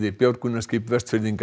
björgunarskip Vestfirðinga